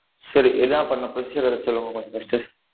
சரி என்னா பண்ணும் procedure அ கொஞ்சம் சொல்லுங்க first டு